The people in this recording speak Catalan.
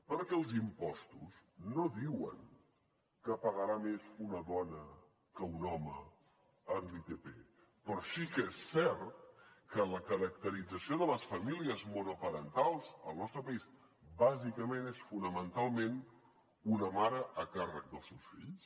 perquè els impostos no diuen que pagarà més una dona que un home en l’itp però sí que és cert que la caracterització de les famílies monoparentals al nostre país bàsicament és fonamentalment una mare a càrrec dels seus fills